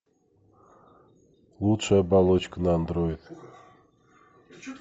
лучшая оболочка на андроид